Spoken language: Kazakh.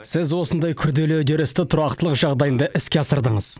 сіз осындай күрделі үдерісті тұрақтылық жағдайында іске асырдыңыз